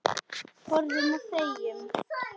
Horfum og þegjum.